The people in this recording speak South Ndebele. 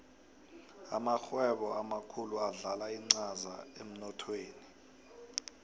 amarhwebo amakhulu adlala incaza emnothweni